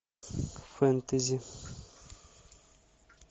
фэнтези